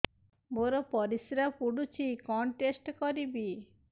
ମୋର ପରିସ୍ରା ପୋଡୁଛି କଣ ଟେଷ୍ଟ କରିବି